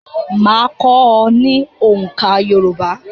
Máa kọ́ ọ ní oǹká Yorùbá.